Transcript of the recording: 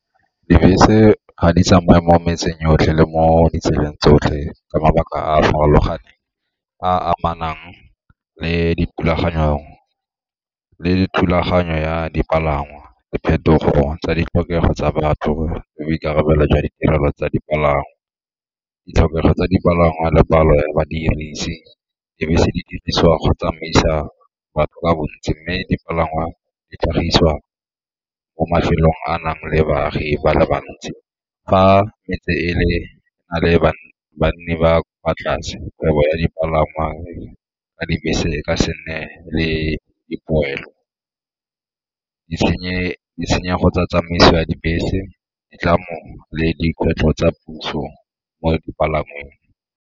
Dibese ga di tsamaye mo metseng yotlhe le mo ditseleng tsotlhe ka mabaka a a farologaneng, a a amanang le thulaganyo ya dipalangwa diphetogo tsa ditlhokego tsa batho le boikarabelo jwa ditirelo tsa dipalangwa, ditlhokego tsa dipalangwa le palo ya badirisi. Dibese di dirisiwa go tsamaisa batho ka bontsi mme dipalangwa di tlhagisiwa ko mafelong a nang le baagi ba le bantsi. Fa metse e le na le banni ba kwa tlase kgwebo ya dipalangwa ka dibese ka se nne le dipoelo. Ditshenyego tsa tsamaiso ya dibese, ditlamo le dikgwetlho tsa puso mo dipalangweng.